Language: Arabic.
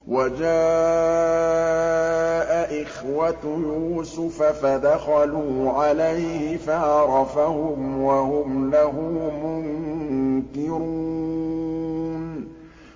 وَجَاءَ إِخْوَةُ يُوسُفَ فَدَخَلُوا عَلَيْهِ فَعَرَفَهُمْ وَهُمْ لَهُ مُنكِرُونَ